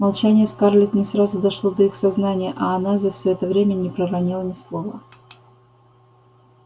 молчание скарлетт не сразу дошло до их сознания а она за всё это время не проронила ни слова